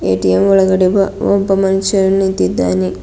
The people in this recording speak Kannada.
ಎ_ಟಿ_ಎಮ್ ಒಳಗಡೆ ಒಬ್ಬ ಒಬ್ಬ ಮನುಷ್ಯ ನಿಂತಿದ್ದಾನೆ.